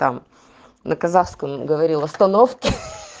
там на казахском говорил остановки